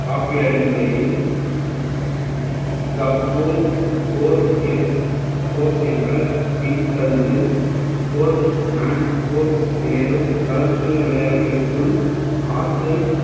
rocky அடிப்படையில் four M popes என்ற பின் தள்ளுதல் course மேலும் கலப்பு விளையாட்டிற்குள்